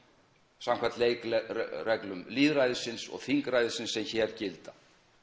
samkvæmt leikreglum lýðræðisins og þingræðisins sem hér gilda